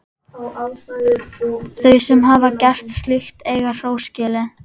Þau sem hafa gert slíkt eiga hrós skilið.